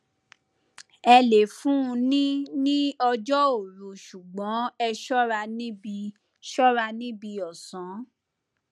ẹ le fun un ní ní ọjọ òru ṣùgbọn ẹ ṣọra níbi ṣọra níbi ọsán